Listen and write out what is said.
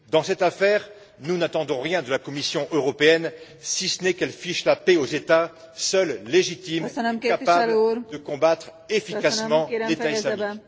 Dans cette affaire, nous n'attendons rien de la Commission européenne, si ce n'est qu'elle fiche la paix aux États seuls légitimes capables de combattre efficacement l'État islamique.